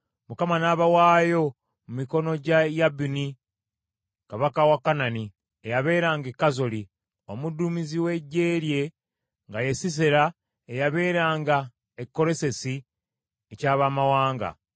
Mukama n’abawaayo mu mikono gya Yabini Kabaka wa Kanani, eyabeeranga e Kazoli; omuduumizi w’eggye lye nga ye Sisera eyabeeranga e Kalosesi eky’abamawanga.